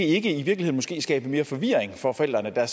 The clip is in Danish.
ikke skabe mere forvirring for forældrene der